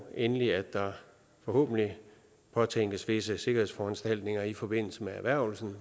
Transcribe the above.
endelig at der forhåbentlig påtænkes visse sikkerhedsforanstaltninger i forbindelse med erhvervelsen